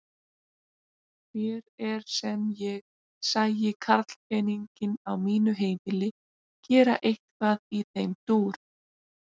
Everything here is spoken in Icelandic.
Mér er sem ég sæi karlpeninginn á mínu heimili gera eitthvað í þeim dúr!